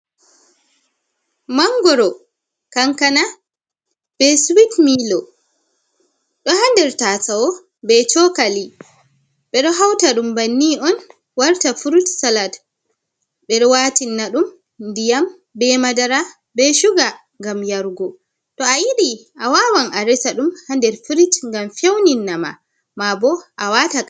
Mangoro, kankana, be suwit miloo, ɗo ha nder tasawo be shokali. Ɓeɗo hauta ɗum banni on warta furut salad. Ɓe ɗo watinaɗum ndiyam be madara be shuga ngam yargo. To a yiɗi a wawan a resaɗum hander firit ngam feunin nama, mabo a wata.